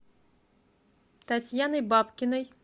татьяной бабкиной